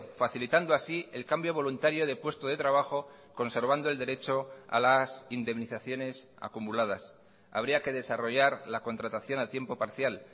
facilitando así el cambio voluntario de puesto de trabajo conservando el derecho a las indemnizaciones acumuladas habría que desarrollar la contratación a tiempo parcial